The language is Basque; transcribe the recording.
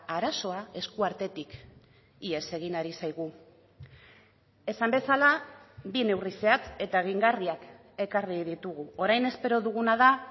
arazoa eskuartetik ihes egin ari zaigu esan bezala bi neurri zehatz eta egingarriak ekarri ditugu orain espero duguna da